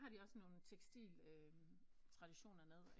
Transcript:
Har de også nogen tekstil traditioner nede